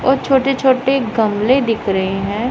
और छोटे छोटे गमले दिख रहे हैं।